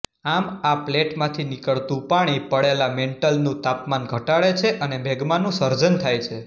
આમ આ પ્લેટમાંથી નીકળતું પાણી પડેલા મેન્ટલનું તાપમાન ઘટાડે છે અને મેગ્માનું સર્જન થાય છે